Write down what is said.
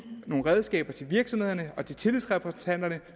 nogle redskaber til virksomhederne og til tillidsrepræsentanterne